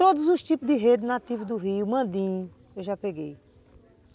Todos os tipos de rede nativo do rio, mandim, eu já peguei.